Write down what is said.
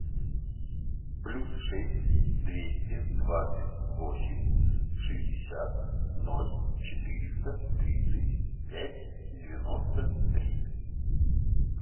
плюс шесть двести двадцать восемь шестьдесят ноль четыреста тридцать пять девяносто три